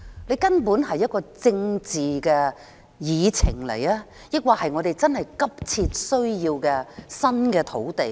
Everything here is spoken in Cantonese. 這究竟是一項政治議程，還是我們確實急切需要新的土地呢？